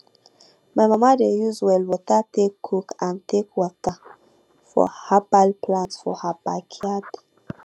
my mama dey use well water take cook and take water her herbal plants for her backyard